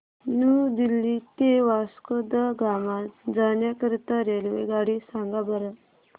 new Delhi ते वास्को द गामा जाण्या करीता रेल्वेगाडी सांगा बरं